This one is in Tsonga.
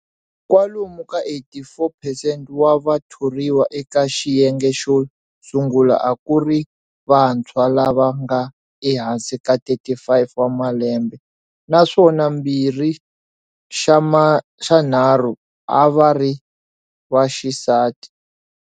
Kwalomu ka 84 percent wa vathoriwa eka xiyenge xo sungula a ku ri vantshwa lava nga ehansi ka 35 wa malembe, naswona mbirhi xa nharhu a va ri vaxisati.